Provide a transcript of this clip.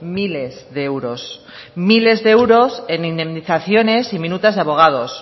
miles de euros miles de euros en indemnizaciones y minutas de abogados